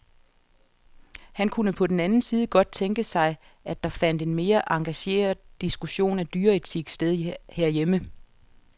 Han kunne på den anden side godt tænke sig, at der fandt en mere engageret diskussion af dyreetik sted herhjemme.